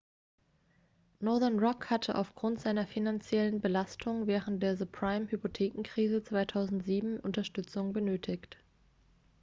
northern rock hatte aufgrund seiner finanziellen belastung während der subprime-hypothekenkrise 2007 unterstützung benötigt